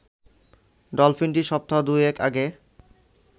ডলফিনটি সপ্তাহ দুয়েক আগে